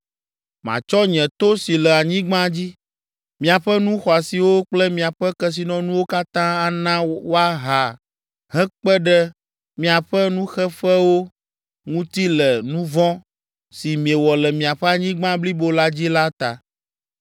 Matsɔ nye to si le anyigba dzi, miaƒe nu xɔasiwo kple miaƒe kesinɔnuwo katã ana woaha hekpe ɖe miaƒe nuxeƒewo ŋuti le nu vɔ̃ si miewɔ le miaƒe anyigba blibo la dzi la ta.